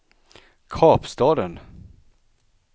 Kapstaden